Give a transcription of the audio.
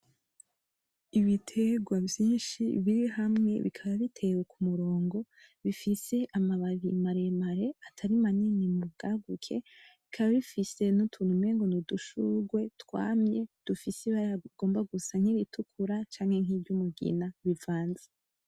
Ibitegwa vyinshi biri hamwe bikaba bitewe ku murongo, bifise amababi maremare atari manini mu bwaguke, bikaba bifise n’utuntu umengo n’udushurwe twamye dufise ibara rigomba gusa nk’iritukura canke nk’iry’umugina rivanze.